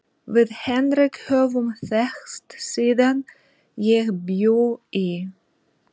Við Henrik höfum þekkst síðan ég bjó í